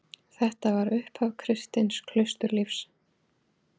Þetta var upphaf kristins klausturlífs.